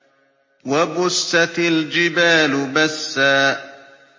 وَبُسَّتِ الْجِبَالُ بَسًّا